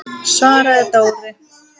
svaraði Dóri.